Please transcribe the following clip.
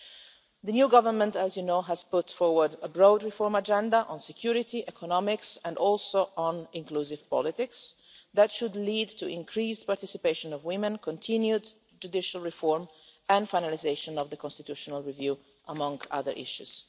As you know, the new Government has put forward a broad reform agenda on security, economics and inclusive politics that should lead to the increased participation of women, continued judicial reform and finalisation of the constitutional review, among other issues.